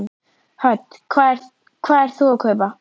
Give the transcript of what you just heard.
Hödd: Hvað ert þú að kaupa?